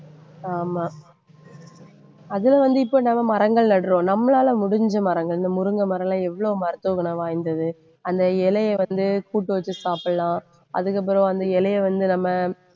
ஆமா அதில வந்து இப்ப நாம மரங்கள் நடறோம் நம்மளால முடிஞ்ச மரங்கள் இந்த முருங்கை மரம் எல்லாம் எவ்வளவு மருத்துவ குணம் வாய்ந்தது? அந்த இலையை வந்து கூட்டு வச்சு சாப்பிடலாம் அதுக்கப்புறம் அந்த இலையை வந்து நம்ம